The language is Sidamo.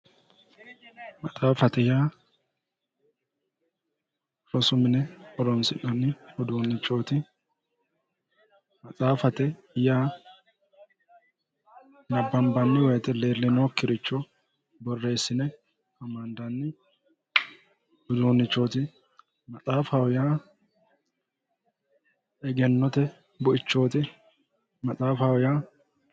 maxaaffate yaa rosu mine horoonsi'nanni uduunnichooti maxaaffate yaa nabbanbanni woyite iillinoonnikkiricho illine borreessinanni uduunnichooti maxaafaho yaa egennote buichooti maxaafaho yaa .